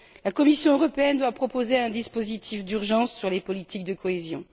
La Commission européenne doit proposer un dispositif d'urgence sur les politiques de cohésion.